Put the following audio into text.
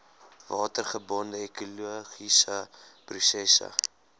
watergebonde ekologiese prosesse